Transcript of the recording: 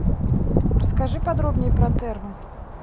расскажи подробнее про термы